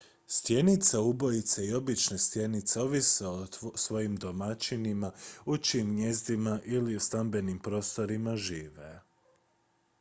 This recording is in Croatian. stjenice ubojice i obične stjenice ovise o svojim domaćinima u čijim gnijezdima ili stambenim prostorima žive